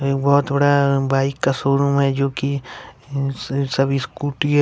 वह थोड़ा बाइक का शोरूम में जो की सभी स्कूटी हैं।